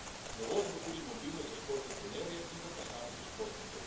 Novost bo tudi mobilnost za športne trenerje in za posamezne športnike.